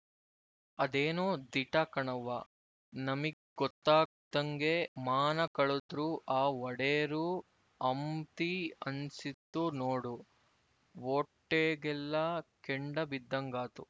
ಅದೇನೊ ದಿಟ ಕಣವ್ವ ನಮಿಗ್ ಗೊತ್ತಾಗ್ದಂಗೆ ಮಾನ ಕಳುದ್ರು ಆ ಒಡೇರು ಅಂಬ್ತಿ ಅನ್ನಿಸ್ತು ನೋಡು ವೊಟ್ಟೇಗೆಲ್ಲ ಕೆಂಡ ಬಿದ್ದಂಗಾತು